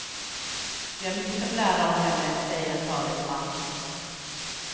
Vi har mycket att lära av henne, säger en talesman.